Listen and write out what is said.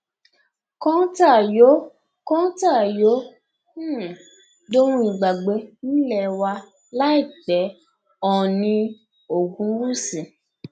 kọńtà yóò kọńtà yóò um dohun ìgbàgbé nílé wa láìpẹ ọ̀ọ̀ni ogunwúsì